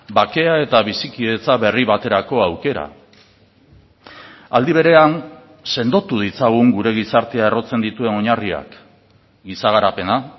bakea eta bizikidetza berri baterako aukera aldi berean sendotu ditzagun gure gizartea errotzen dituen oinarriak giza garapena